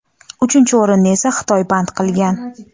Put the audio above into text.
uchinchi o‘rinni esa Xitoy band qilgan.